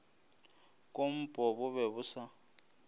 kompo bo be bo sa